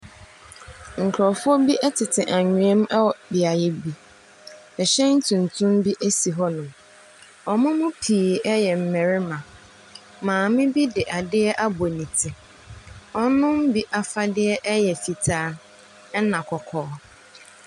Nkrɔfoɔ tete anwea mu wɔ beaeɛ bi. Ɛhyɛn tuntum bi esi hɔnom. Wɔn mu pii yɛ mmarima. Maame bi de ade abɔ ne ti. Wɔn mu bi afade yɛ fitaa ne kɔkɔɔ.